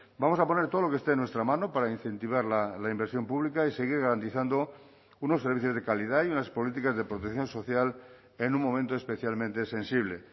vamos a poner todo lo que esté en nuestra mano para incentivar la inversión pública y seguir garantizando unos servicios de calidad y unas políticas de protección social en un momento especialmente sensible